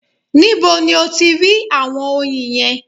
Nibo ni o ti rí àwọn oyin yẹn?